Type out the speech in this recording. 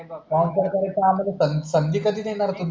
पाहुणचार करायची आम्हाला संधि संधि कधी देणार तुम्ही